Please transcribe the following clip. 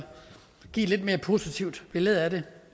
give et lidt mere positivt billede af det